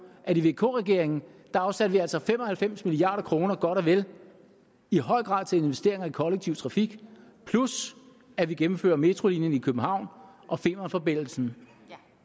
at i vk regeringen afsatte vi altså fem og halvfems milliard kroner i høj grad til investeringer i kollektiv trafik plus at vi gennemfører metrolinjen i københavn og femernforbindelsen